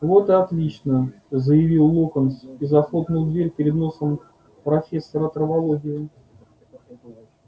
вот и отлично заявил локонс и захлопнул дверь перед носом профессора травологии